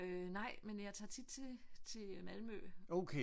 Øh nej men jeg tager tit til til Malmø